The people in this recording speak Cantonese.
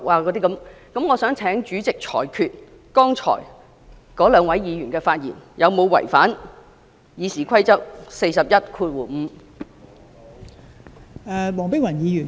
我想請代理主席裁決，剛才兩位議員的發言有否違反《議事規則》第415條。